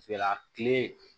tile